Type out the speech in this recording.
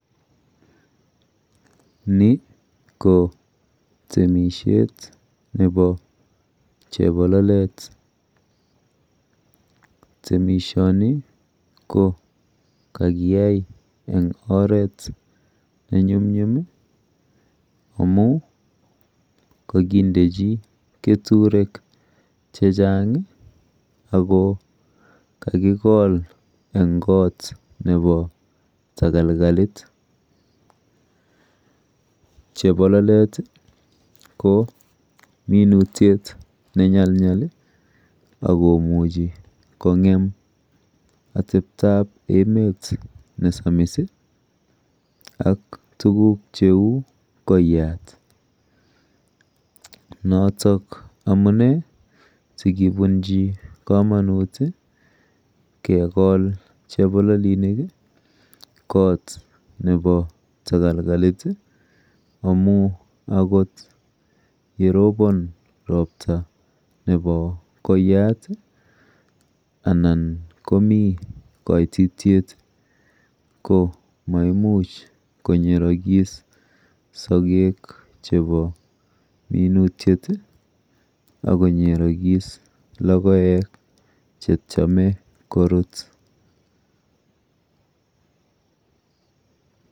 Ni ko temishet nepo chepololet. Temishoni ko kakiyai eng oret nenyumnyum amu kakindechi keturek chechang ako kakikol eng kot nepo takalkalit. Chepololet ko minutyet nenyalnyal akomuchi kowal atepto nepo emet nesamis ak tuguk cheu koiyat notok amune sikibunji komonut kekol chepololinik kot nepo takalkalit amu akot yerobon ropta nepo koiyat anan komi kaitityet ko maimuch konyerokis sokek chepo minutyet akonyerokis logoek chetcheme korut.